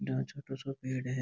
आ एक छोटो सो पेड़ है।